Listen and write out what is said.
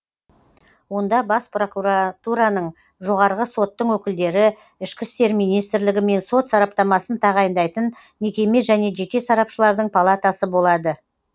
онда бас прокуратураның жоғарғы соттың өкілдері ішкі істер министрлігі мен сот сараптамасын тағайындайтын мекеме және жеке сарапшылардың палатасы болады